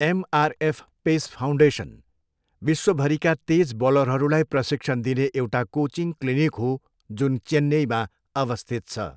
MRF pace foundation, विश्वभरिका तेज बलरहरूलाई प्रशिक्षण दिने एउटा कोचिङ क्लिनिक हो जुन चेन्नईमा अवस्थित छ।